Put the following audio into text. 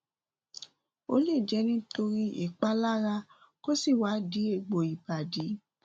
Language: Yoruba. ó lè jẹ nítorí ìpalára kó sì wá di egbò ìbàdí